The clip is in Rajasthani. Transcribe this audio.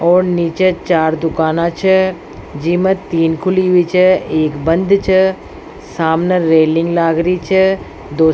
और निचे चार दूकाना छ जिमे तीन खुली हुई छ एक बंद छ सामने रेलिंग लाग री छ दो --